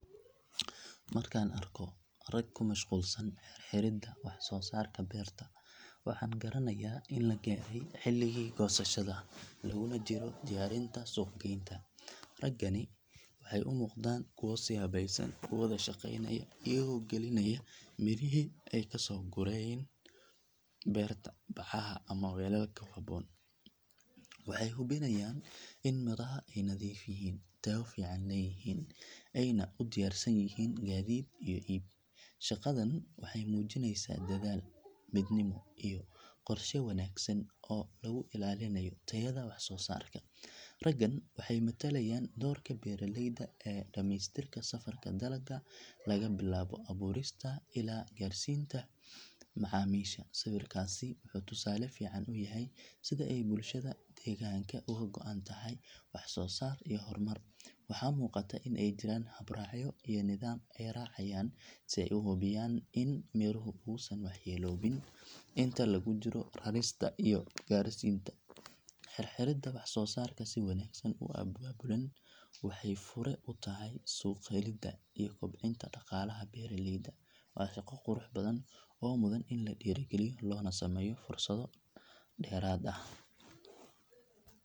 Markaan arko rag ku mashquulsan xirxiridda waxsoosaarka beerta waxaan garanayaa in la gaaray xilligii goosashada laguna jiro diyaarinta suuqgeynta. Raggani waxay u muuqdaan kuwo si habaysan u wada shaqeynaya iyagoo gelinaya mirihii ay ka soo gooyeen beerta bacaha ama weelal ku habboon. Waxay hubinayaan in miraha ay nadiif yihiin, tayo fiican leeyihiin, ayna u diyaarsan yihiin gaadiid iyo iib. Shaqadan waxay muujinaysaa dadaal, midnimo iyo qorshe wanaagsan oo lagu ilaalinayo tayada waxsoosaarka. Raggan waxay matalayaan doorka beeraleyda ee dhamaystirka safarka dalagga laga bilaabo abuurista ilaa gaarsiinta macaamiisha. Sawirkaasi wuxuu tusaale fiican u yahay sida ay bulshada deegaanka uga go’an tahay waxsoosaar iyo horumar. Waxaa muuqata in ay jiraan habraacyo iyo nidaam ay raacayaan si ay u hubiyaan in midhuhu uusan waxyeeloobayn inta lagu jiro rarista iyo gaarsiinta. Xirxiridda waxsoosaarka si wanaagsan u abaabulan waxay fure u tahay suuq helidda iyo kobcinta dhaqaalaha beeraleyda. Waa shaqo qurux badan oo mudan in la dhiirrigeliyo loona sameeyo fursado dheeraad ah.